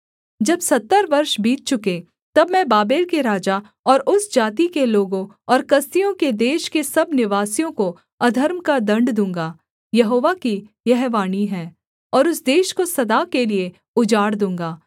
जब सत्तर वर्ष बीत चुकें तब मैं बाबेल के राजा और उस जाति के लोगों और कसदियों के देश के सब निवासियों को अधर्म का दण्ड दूँगा यहोवा की यह वाणी है और उस देश को सदा के लिये उजाड़ दूँगा